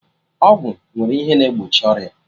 Ọgwụ nwere ihe na egbochi ọrịa